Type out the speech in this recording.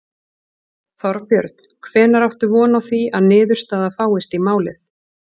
Þorbjörn: Hvenær áttu von á því að niðurstaða fáist í málið?